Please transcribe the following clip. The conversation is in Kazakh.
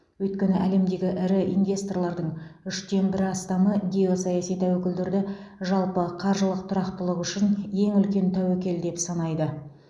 өйткені әлемдегі ірі инвесторлардың үштен бірі астамы геосаяси тәуекелдерді жалпы қаржылық тұрақтылық үшін ең үлкен тәуекел деп санайды